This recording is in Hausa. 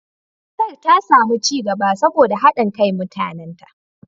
Kasar ta sami ci gaba saboda haɗin kan mutanenta.